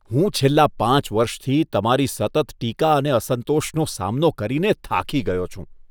હું છેલ્લા પાંચ વર્ષથી તમારી સતત ટીકા અને અસંતોષનો સામનો કરીને થાકી ગયો છું.